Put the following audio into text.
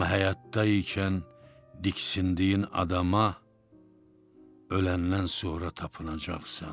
Amma həyatda ikən diksindiyin adama öləndən sonra tapınacaqsan.